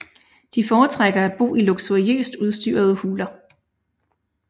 De foretrækker at bo i luksuriøst udstyrede huler